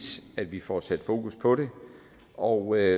at vi får sat fokus på det og